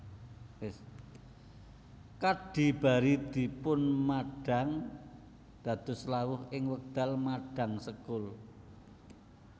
Kadhi bari dipunmadhang dados lawuh ing wekdal madhang sekul